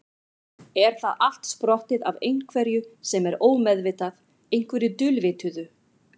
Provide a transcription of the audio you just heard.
Er það allt sprottið af einhverju sem er ómeðvitað, einhverju dulvituðu?